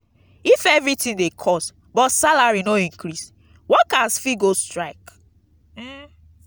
if everything dey cost but salary no increase workers fit go strike.